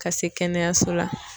Ka se kɛnɛyaso la.